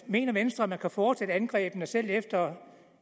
mener venstre at man kan fortsætte angrebene selv efter